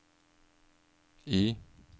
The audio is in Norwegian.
I